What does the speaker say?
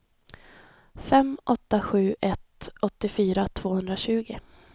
fem åtta sju ett åttiofyra tvåhundratjugo